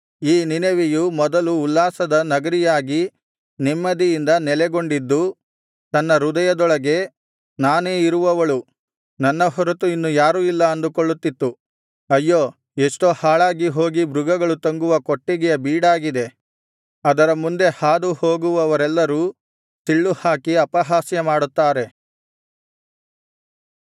ಈ ನಿನವೆಯು ಮೊದಲು ಉಲ್ಲಾಸದ ನಗರಿಯಾಗಿ ನೆಮ್ಮದಿಯಿಂದ ನೆಲೆಗೊಂಡಿದ್ದು ತನ್ನ ಹೃದಯದೊಳಗೆ ನಾನೇ ಇರುವವಳು ನನ್ನ ಹೊರತು ಇನ್ನು ಯಾರೂ ಇಲ್ಲ ಅಂದುಕೊಳ್ಳುತ್ತಿತ್ತು ಅಯ್ಯೋ ಎಷ್ಟೋ ಹಾಳಾಗಿ ಹೋಗಿ ಮೃಗಗಳು ತಂಗುವ ಕೊಟ್ಟಿಗೆಯ ಬೀಡಾಗಿದೆ ಅದರ ಮುಂದೆ ಹಾದುಹೋಗುವವರೆಲ್ಲರು ಸಿಳ್ಳು ಹಾಕಿ ಅಪಹಾಸ್ಯ ಮಾಡುತ್ತಾರೆ